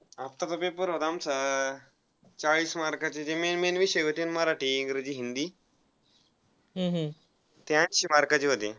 आत्ताचा पेपर होता आमचा चाळीस mark चे जे main main विषय होते ते मराठी इंग्रजी हिंदी ते ऐंशी mark चे होते.